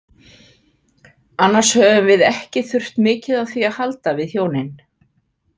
Annars höfum við ekki þurft mikið á því að halda við hjónin.